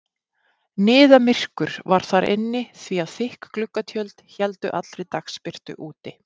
Niðamyrkur var inni því að þykk gluggatjöld héldu allri dagsbirtu úti.